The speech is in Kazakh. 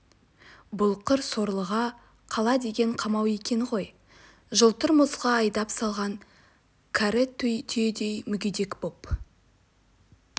бұл қыр сорлыға қала деген қамау екен ғой жалтыр мұзға айдап салған кәрі түйедей мүгедек боп